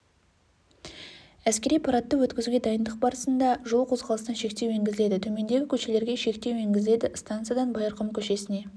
әскери парадты өткізуге дайындық барсында жол қозғалысына шектеу енгізіледі төмендегі көшелерге шектеу енгізіледі станциядан байырқұм көшесіне